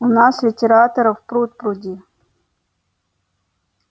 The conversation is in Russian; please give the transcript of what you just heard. у нас литераторов пруд-пруди